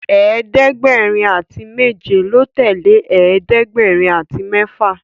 ẹ̀ẹ́dẹ̀gbẹ̀rin àti méje ló tẹlẹ ẹ̀ẹ́dẹ̀gbẹ̀rin àti méfà